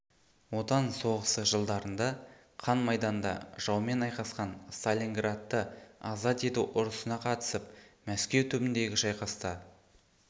отан соғысы жылдарында қан майданда жаумен айқасқан сталинградты азат ету ұрысына қатысып мәскеу түбіндегі шайқаста